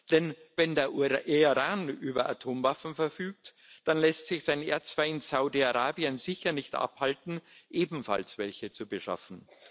Denn wenn der Iran über Atomwaffen verfügt, dann lässt sich sein Erzfeind Saudi Arabien sicher nicht davon abhalten, ebenfalls welche zu beschaffen.